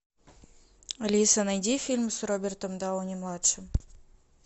алиса найди фильм с робертом дауни младшим